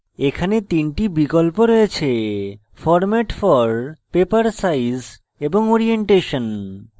এখানে তিনটি বিকল্প রয়েছেformat for paper size এবং orientation